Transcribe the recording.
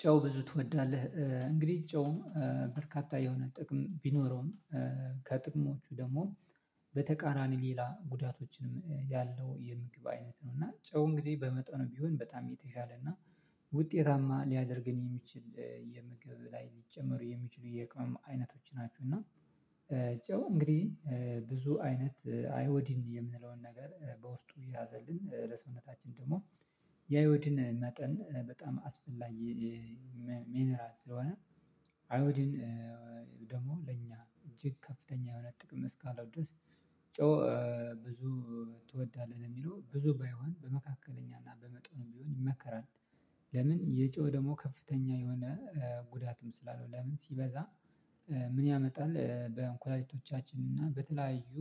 ጫው ብዙ ትወዳለህ? እንግዲህ ጫውም በርካታ የሆነ ጥቅም ቢኖረውም ከጥቅሞቹ ደግሞ በተቃራኒ ሌላ ጉዳቶችንም ያለው የምግብ አይነት ነው። እና ጫው እንግዲህ በመጠኑ ቢሆን በጣም የተሻለ እና ውጤታማ ሊያደርገን የሚችል የምግብ ላይ ሊጨመሩ የሚችሉ የቅመም አይነቶች ናችው። እና ጨው እንግዲህ ብዙ አይነት አይወዲን የምንለውን ነገር በውስጡ የያዘልን ለሰውነታችን ደግሞ የአይሁዲን መጠን በጣም አስፈላጊ። ሚንራል ስለሆነ አይሁዲን ደግሞ ለኛ እጅግ ከፍተኛ የሆነ ጥቅም እስካለው ድረስ። ጨው ብዙ ትወዳለህ? የሚለው ብዙ ባይሆን በመካከለኛና በመጠኑም ቢሆን ይመከራል። ለምን የጨው ደግሞ ከፍተኛ የሆነ ጉዳትም ስላለው ለምን ሲበዛ ምን ያመጣል? በኩላሊቶቻችን እና በተለያዩ